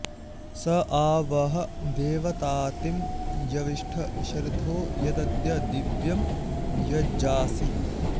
स आ वह देवतातिं यविष्ठ शर्धो यदद्य दिव्यं यजासि